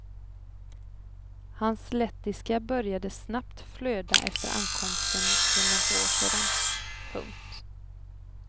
Hans lettiska började snabbt flöda efter ankomsten för något år sedan. punkt